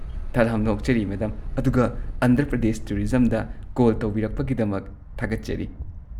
ꯇꯥꯔꯥꯝꯅ ꯑꯣꯛꯆꯔꯤ ꯃꯦꯗꯝ ꯑꯗꯨꯒ ꯑꯟꯙ꯭ꯔ ꯄ꯭ꯔꯗꯦꯁ ꯇꯨꯔꯤꯖꯝꯗ ꯀꯣꯜ ꯇꯧꯕꯤꯔꯛꯄꯒꯤꯗꯃꯛ ꯊꯥꯒꯠꯆꯔꯤ꯫